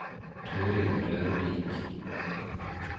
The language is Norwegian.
Torill Rørvik